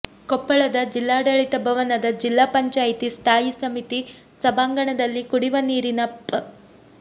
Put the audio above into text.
ಕೊಪ್ಪಳದ ಜಿಲ್ಲಾಡಳಿತ ಭವನದ ಜಿಲ್ಲಾ ಪಂಚಾಯಿತಿ ಸ್ಥಾಯಿ ಸಮಿತಿ ಸಭಾಂಗಣದಲ್ಲಿ ಕುಡಿವ ನೀರಿನ ಪ್